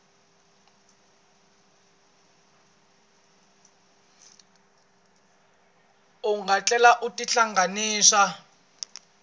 u nga tlhela u tihlanganisa